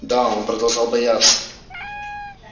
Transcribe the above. да он продолжал бояться